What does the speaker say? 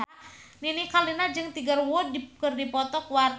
Nini Carlina jeung Tiger Wood keur dipoto ku wartawan